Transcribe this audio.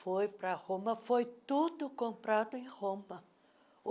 Foi para Roma, foi tudo comprado em Roma.